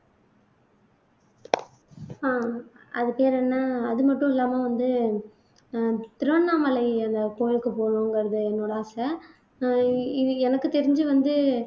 ஆஹ் அது பேர் என்ன அது மட்டும் இல்லாம வந்து அஹ் திருவண்ணாமலை அந்த கோயிலுக்கு போகணுங்கறது என்னோட ஆசை ஆஹ் இது எனக்கு தெரிஞ்சு வந்து